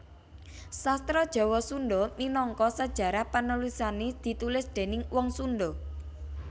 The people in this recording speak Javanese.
Sastra Jawa Sunda minangka sajarah panulisané ditulis déning wong Sunda